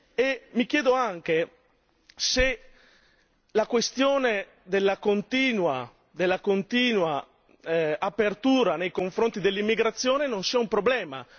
E mi chiedo anche se la questione della continua apertura nei confronti dell'immigrazione non sia un problema.